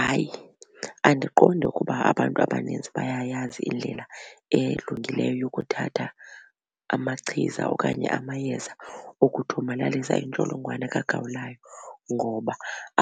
Hayi, andiqondi ukuba abantu abanintsi bayayazi indlela elungileyo yokuthatha amachiza okanye amayeza okuthomalalisa intsholongwane kagawulayo ngoba